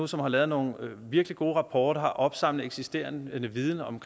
som har lavet nogle virkelig gode rapporter og har opsamlet eksisterende viden om